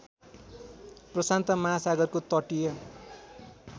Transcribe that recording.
प्रशान्त महासागरको तटीय